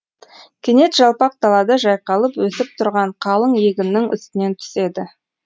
кенет жалпақ далада жайқалып өсіп тұрған қалың егіннің үстінен түседі